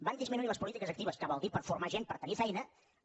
van disminuir les polítiques actives que vol dir per formar gent per tenir feina